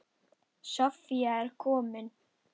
Soffía er komin.